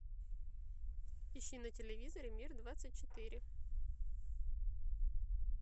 ищи на телевизоре мир двадцать четыре